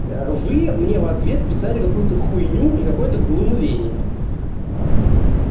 вы мне в ответ писали какую-то хуйню и какое-то глумление ээ